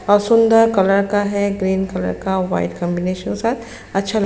और सुन्दर कलर का है ग्रीन कलर का वाइट कॉम्बिनेशन साथ अच्छा ल --